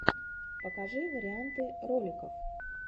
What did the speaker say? покажи варианты роликов